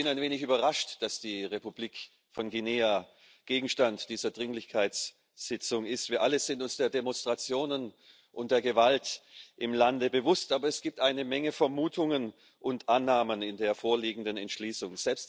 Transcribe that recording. Ich bin ein wenig überrascht, dass die Republik von Guinea Gegenstand dieser Dringlichkeitssitzung ist. Wir alle sind uns der Demonstrationen und der Gewalt im Lande bewusst, aber es gibt eine Menge Vermutungen und Annahmen in der vorliegenden Entschließung.